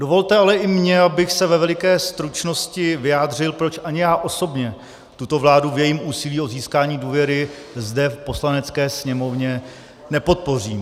Dovolte ale i mě, abych se ve veliké stručnosti vyjádřil, proč ani já osobně tuto vládu v jejím úsilí o získání důvěry zde, v Poslanecké sněmovně, nepodpořím.